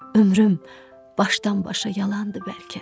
Ömrüm başdan-başa yalandır bəlkə.